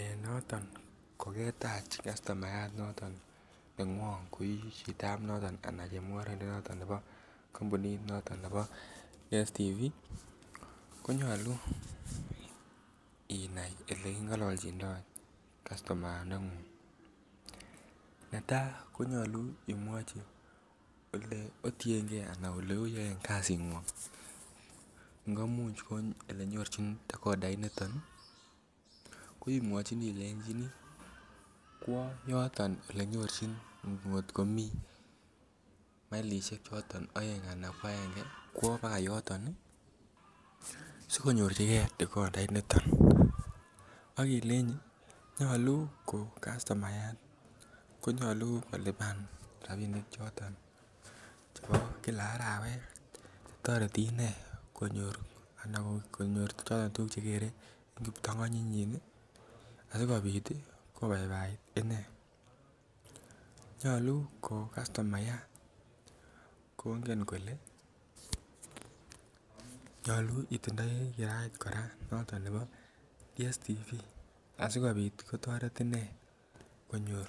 Ee noton kogetach customayat noton nekwong koii chito noton anan chemungoroindet noton nebo kompunit nebo DStv konyoluu inai ole kigololchindoi customaya ndengung. Netaa konyoluu imwoji ole otiengee anan ole oyoen kazikwong, ngomuch ko ele nyorchin decodait niton ko imwochini ilejini kwo yoton ole nyorchin ngot komii milishek choton oeng ana aenge, kwo baka yoton ii sikonyorjigee decodait niton ak ileji ko customayat ko nyoluu kolipan rabinik choton chebo Kila arawet toreti inee konyor ana konyor tuguk choton che gere en kiptongonyit nyin asikopit ii kobaibait inee. Nyoluu ko customayat kongen kole nyoluu itindoi kirait kora noton nebo DStv asikopit kotoret inee konyor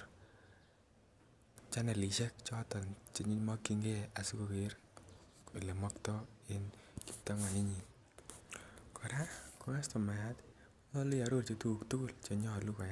chanelishek choton che kimokyin gee asi koger ole mokto en kiptongonyit nyin, koraa ko customayat konyoluu iirorji tuguk tugul che nyoluu koyay